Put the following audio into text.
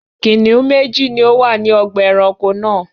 Kìnnìún méjì ni ó wà ní ọgbà-ẹranko náà.